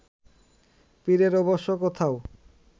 পীরের অবশ্য কোথাও